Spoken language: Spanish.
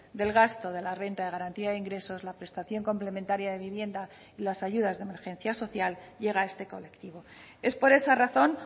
del gasto de la renta de garantía de ingresos la prestación complementaria de vivienda y las ayudas de emergencia social llega a este colectivo es por esa razón